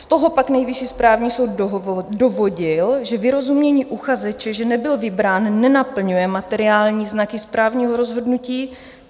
Z toho pak Nejvyšší správní soud dovodil, že vyrozumění uchazeče, že nebyl vybrán, nenaplňuje materiální znaky správního rozhodnutí.